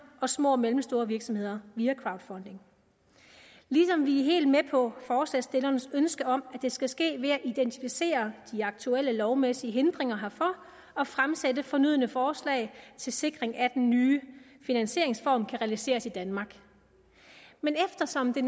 og små og mellemstore virksomheder via crowdfunding ligesom vi er helt med på forslagsstillernes ønske om at det skal ske ved at identificere de aktuelle lovmæssige hindringer herfor og fremsætte fornødne forslag til sikring af at den nye finansieringsform kan realiseres i danmark men eftersom det